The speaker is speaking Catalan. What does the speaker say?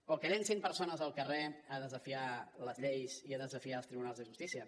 o que llencin persones al carrer a desafiar les lleis i a desafiar els tribunals de justícia